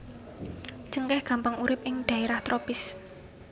Cengkèh gampang urip ing dhaerah tropis